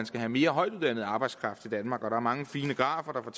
skal have mere højtuddannet arbejdskraft til danmark der er mange fine grafer